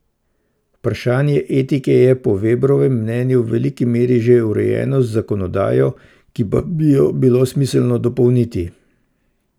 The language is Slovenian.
Vprašanje etike je po Vebrovem mnenju v veliki meri že urejeno z zakonodajo, ki pa bi jo bilo smiselno dopolniti.